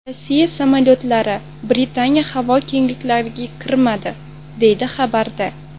Rossiya samolyotlari Britaniya havo kengliklariga kirmadi”, deyiladi xabarda.